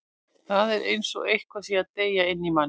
Það er eins og eitthvað sé að deyja inni í manni.